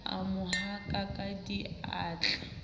a mo haka ka diatla